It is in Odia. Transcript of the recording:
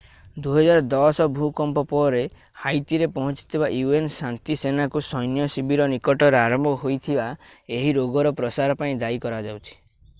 2010 ଭୂକମ୍ପ ପରେ ହାଇତିରେ ପହଞ୍ଚିଥିବା un ଶାନ୍ତିସେନାଙ୍କୁ ସୈନ୍ୟ ଶିବିର ନିକଟରେ ଆରମ୍ଭ ହୋଇଥିବା ଏହି ରୋଗର ପ୍ରସାର ପାଇଁ ଦାୟୀ କରାଯାଉଛି